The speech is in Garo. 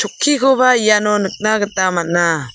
chokkikoba iano nikna gita man·a.